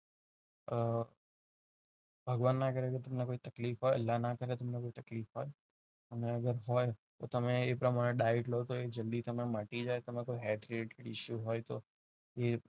આ ભગવાન ના કરે તમને કોઈ તકલીફ હોય અલ્લાહ ના કરે તમને કોઈ તકલીફ હોય અને આગળ હોય તો તમે એ પ્રમાણે ડાયરેક્ટ લો તો એ જલ્દી તમને મટી જાય તમને કોઈ healthy હોય તો એ